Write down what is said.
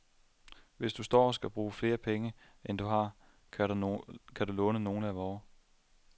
Hvis du står og skal bruge flere penge, end du har, kan du låne nogle af vore.